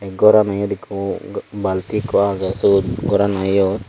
tey gorano iyot ekko balti ekko syot gorano iyot.